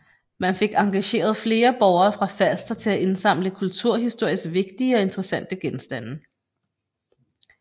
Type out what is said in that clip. Man fik engageret flere borgere fra Falster til at indsamle kulturhistorisk vigtige og interessante genstande